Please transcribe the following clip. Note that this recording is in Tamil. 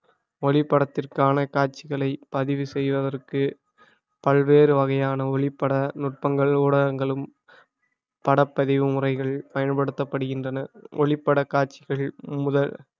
ஒளிப்படத்திற்கான காட்சிகளை பதிவு செய்வதற்கு பல்வேறு வகையான ஒளிப்பட நுட்பங்கள் ஊடகங்களும் படப்பதிவு முறைகள் பயன்படுத்தப்படுகின்றன ஒளிப்பட காட்சிகள் முதல்